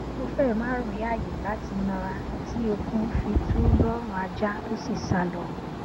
mo fẹ ma ri aaye lati nara ti okun fi tu lọrun aja to si salọ